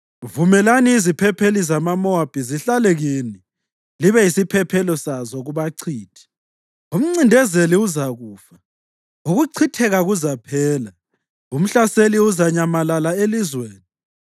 Vumelani iziphepheli zamaMowabi zihlale kini; libe yisiphephelo sazo kubachithi.” Umncindezeli uzakufa, ukuchitheka kuzaphela, umhlaseli uzanyamalala elizweni.